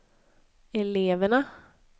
eleverna